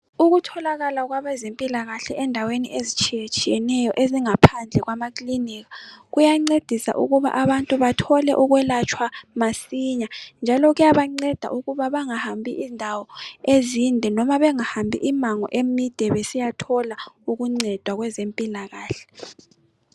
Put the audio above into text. Ukutholakala kwabezempilakahle endaweni ezitshiyetshiyeneyo ezingaphandle kwamaklinika kuyancedisa ukuba abantu bathole ukwelatshwa masinya njalo kuyabanceda ukuba bangahambi indawo ezinde noma bengahambi immango emide besiya thola uncedo kwezempilakahle